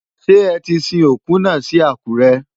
Ṣé ẹ ti sin òkú náà sí Àkúrẹ́?